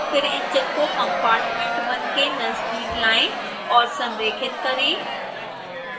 फिर engine को compartment1 के नज़दीक लाएँ और संरेखित करें